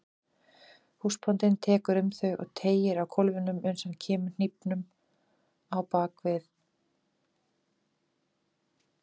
Húsbóndinn tekur um þau og teygir á kólfunum uns hann kemur hnífnum á bak við.